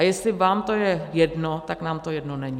A jestli vám to je jedno, tak nám to jedno není!